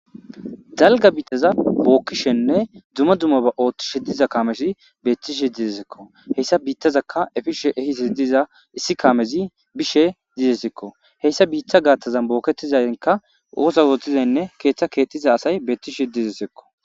dalga biittaza bookkishenne dzuma dumma ba ooththishe diza kamesi beettishi didesikko heyssa biittazakka efishe ehisi diza issi kamezi bishe didesikko heyssa biitta gaaththazan bookketizaynka oosa wuotizaynne keeththa keexxiza asay beettishi didesikko